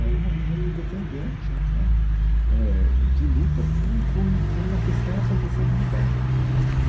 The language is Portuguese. Era um movimento independente né eh de luta por um por por uma questão acontecendo no bairro.